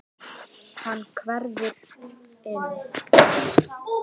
Hann hverfur inn.